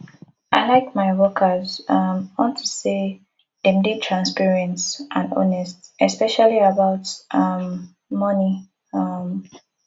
i like my workers um unto say dem dey transparent and honest especially about um money um